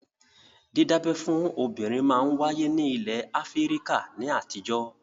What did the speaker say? Dídábẹ́ fún obìnrin máa ń wáyé ní ilẹ̀ Áfíríkà ní àtijọ́